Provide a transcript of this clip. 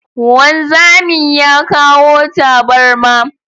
Wanzamin ya kawo tabarma